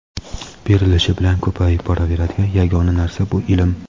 Berilishi bilan ko‘payib boraveradigan yagona narsa bu ilm.